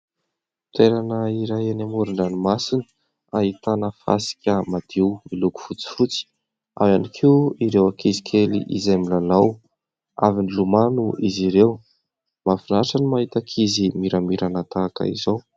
Toerana iray eny amoron-dranomasina ahitana fasika madio miloko fotsifotsy ary ihany koa ireo ankizy kely izay milalao. Avy nilomano izy ireo. Mafinaritra ny mahita ankizy miramirana tahaka izao.